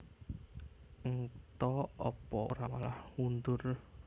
Ng ta Apa ora malah mundur